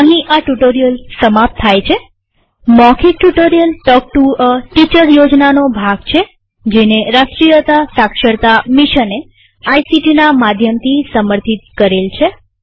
અહીં આ ટ્યુ્ટોરીઅલ સમાપ્ત થાય છેમૌખિક tutorial talk to a teacher યોજનાનો ભાગ છેજેને રાષ્ટ્રીય સાક્ષરતા મિશને આઇસીટી ના માધ્યમથી સમર્થિત કરેલ છે